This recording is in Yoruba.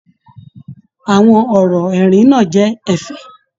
Àwọn ọrọ ẹrin náà jẹ ẹ̀fẹ̀.